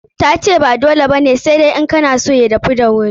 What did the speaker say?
Ta ce ba dole ba ne, sai dai in kana son ya dahu da wuri.